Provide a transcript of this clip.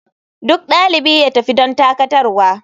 Duk dalibi ya tafi don dakatarwa.